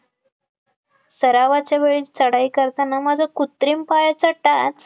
सरावाच्या वेळी चढाई करताना माझा कुत्रिम पायचा टाच,